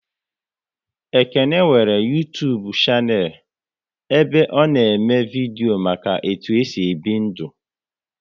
Ekene nwere Uytubu shanel ebe ọ na eme vidio maka etu e si ebi ndu